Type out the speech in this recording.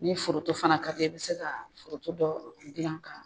Ni foronto fana ka di ye , i be se ka foronto dɔ jilan ka